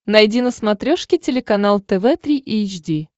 найди на смотрешке телеканал тв три эйч ди